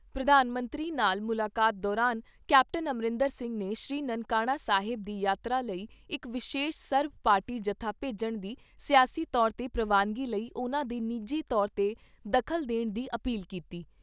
ਪ੍ਰਧਾਨ ਮੰਤਰੀ ਨਾਲ ਮੁਲਾਕਾਤ ਦੌਰਾਨ ਕੈਪਟਨ ਅਮਰਿੰਦਰ ਸਿੰਘ ਨੇ ਸ੍ਰੀ ਨਨਕਾਣਾ ਸਾਹਿਬ ਦੀ ਯਾਤਰਾ ਲਈ ਇਕ ਵਿਸ਼ੇਸ਼ ਸਰਬ ਪਾਰਟੀ ਜੱਥਾ ਭੇਜਣ ਦੀ ਸਿਆਸੀ ਤੌਰ 'ਤੇ ਪ੍ਰਵਾਨਗੀ ਲਈ ਉਨ੍ਹਾਂ ਦੇ ਨਿੱਜੀ ਤੌਰ 'ਤੇ ਦਖਲ ਦੇਣ ਦੀ ਅਪੀਲ ਕੀਤੀ।